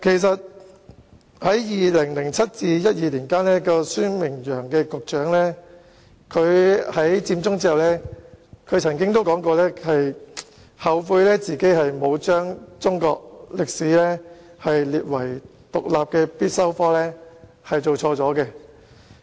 在2007年至2012年間擔任教育局局長的孫明揚於"佔中"後曾表示，他後悔沒有將中史列為獨立的必修科，並承認他做錯了。